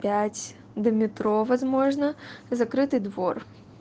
пять до метро возможно закрытый двор